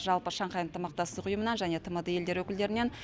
жалпы шанхай ынтымақтастық ұйымынан және тмд елдері өкілдерінен